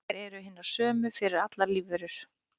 Þær eru hinar sömu fyrir allar lífverur.